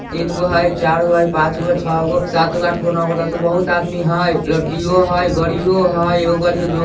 तीनगो हई चारगो हई पांचगो हई छगो हई सातगो आठगो नवगो दसगो बहुत आदमी हई लड़कियों हई गाड़ियों हई एकगो गाड़ी दु --